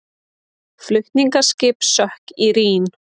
Flutningaskip sökk í Rín